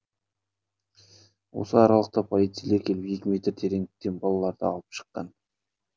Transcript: осы аралықта полицейлер келіп екі метр тереңдіктен балаларды алып шыққан